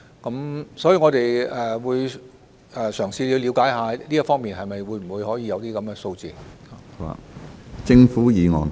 就此，我們會嘗試了解是否可以獲得這方面的相關數字。